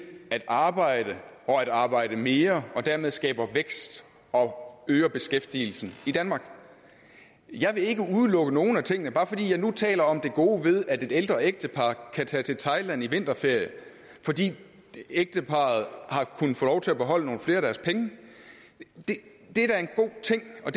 at arbejde og at arbejde mere og dermed skaber vækst og øger beskæftigelsen i danmark jeg vil ikke udelukke nogen af tingene bare fordi jeg nu taler om det gode ved at et ældre ægtepar kan tage til thailand i vinterferien fordi ægteparret har kunnet få lov til at beholde nogle flere af deres penge det er da en god ting og